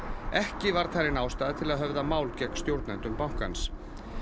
ekki var talin ástæða til að höfða mál gegn stjórnendum bankans